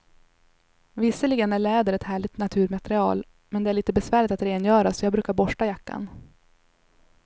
Visserligen är läder ett härligt naturmaterial, men det är lite besvärligt att rengöra, så jag brukar borsta jackan.